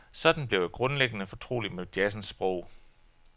Sådan blev jeg grundlæggende fortrolig med jazzens sprog.